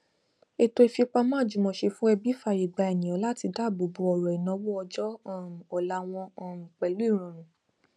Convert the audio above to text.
ètò ìfipamọ àjùmọṣe fún ẹbí fààyè gbà ènìyàn láti dáàbò bò ọrọ ìnáwó ọjọ um ọla wọn um pẹlú ìrọrùn